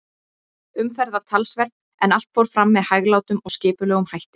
Umferð var talsverð, en allt fór fram með hæglátum og skipulegum hætti.